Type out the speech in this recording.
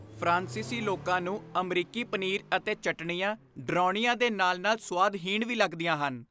ਫਰਾਂਸੀਸੀ ਲੋਕਾਂ ਨੂੰ ਅਮਰੀਕੀ ਪਨੀਰ ਅਤੇ ਚਟਣੀਆਂ ਡਰਾਉਣੀਆਂ ਦੇ ਨਾਲ ਨਾਲ ਸੁਆਦਹੀਣ ਵੀ ਲੱਗਦੀਆਂ ਹਨ